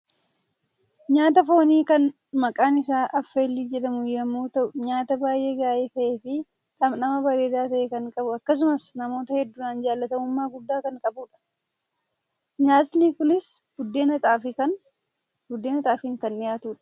Nyaata foonii kan maqaan isaa 'Affeellii' jedhamu yommuu ta'u, nyaata baay'ee gaarii ta'eefi dhamdhama bareedaa ta'e kan qabu akkasumas namoota hedduudhaan jaallatamummaa guddaa kan qabudha. Nyaatni kunis buddeena xaafiin kan dhiyaatudha.